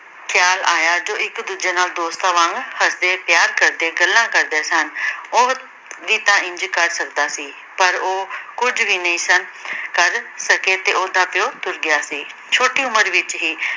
ਖਿਆਲ ਆਇਆ, ਜੋ ਇੱਕ ਦੂਜੇ ਨਾਲ ਦੋਸਤਾਂ ਵਾਂਗ ਹੱਸਦੇ, ਪਿਆਰ ਕਰਦੇ, ਗੱਲਾਂ ਕਰਦੇ ਸਨ। ਉਹ ਵੀ ਤਾਂ ਇੰਝ ਕਰ ਸਕਦਾ ਸੀ। ਪਰ ਉਹ ਕੁਝ ਵੀ ਨਹੀਂ ਸਨ ਕਰ ਸਕੇ ਤੇ ਉਹਦਾ ਪਿਉ ਤੁਰ ਗਿਆ ਸੀ। ਛੋਟੀ ਉਮਰ ਵਿੱਚ ਹੀ